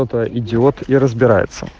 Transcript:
идиот и разбираться